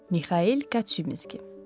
Mixail Kaçinski.